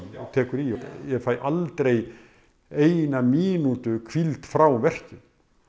tekur í ég fæ aldrei eina mínútu í hvíld frá verkjum